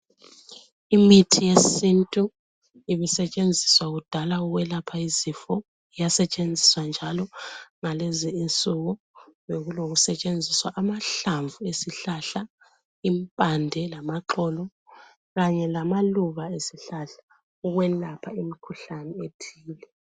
Imithi yesintu, ibisetshenziswa kudala ukwelapha izifo. Iyasetshenziswa njalo ngalezi insuku. Bekulokusetshenziswa amahlamvu esihlahla, impande lamaxolo kanye lamaluba esihlahla ukwelapha imikhuhlane ethile.